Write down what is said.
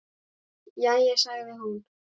Jæja sagði hún.